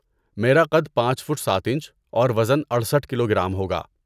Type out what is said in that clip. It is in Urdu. میرا قد پانچ فٹ سات انچ اور وزن اڑسٹھ کلوگرام ہوگا